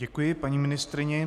Děkuji, paní ministryně.